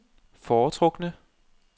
foretrukne